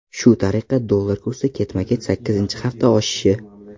Shu tariqa, dollar kursi ketma-ket sakkizinchi hafta oshishi.